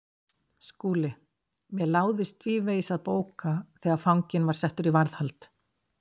SKÚLI: Mér láðist tvívegis að bóka þegar fanginn var settur í varðhald.